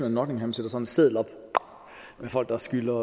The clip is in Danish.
af nottingham sætter en seddel op om folk der skylder